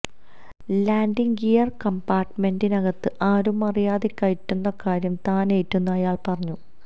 landing gear കംപാര്ട്ട്മെന്റിനകത്ത് ആരുമറിയാതെ കയറ്റുന്ന കാര്യം താനേറ്റെന്നും അയാള് പറഞ്ഞു